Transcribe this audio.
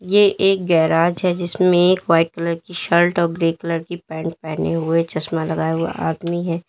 ये एक गैराज है जिसमें एक वाइट कलर की शर्ट और ग्रे कलर की पैंट पहने हुए चश्मा लगाया हुआ आदमी है।